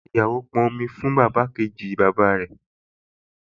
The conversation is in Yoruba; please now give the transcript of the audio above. Táíwò pọn omi fún ìyàwó kejì bàbá rẹ̀